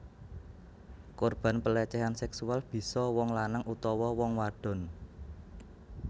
Korban pelecehan seksual bisa wong lanang utawa wong wadon